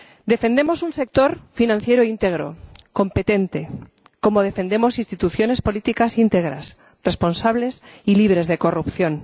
Defendemos un sector financiero íntegro, competente, como defendemos instituciones políticas íntegras, responsables y libres de corrupción.